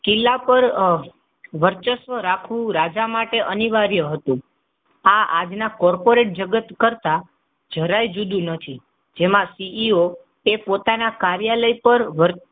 કિલ્લાપર વર્ચસ્વ રાખવું રાજા માટે અનિવાર્ય હતું. આ આજના કોર્પોરેટ જગત કરતા જરાય જુદું નથી. એમા CEO ઓ તે પોતાના કાર્યાલય પર,